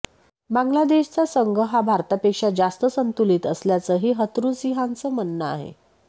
बांग्लादेशचा संघ हा भारतापेक्षा जास्त संतुलित असल्याचंही हथरुसिंहाचं म्हणणं आहे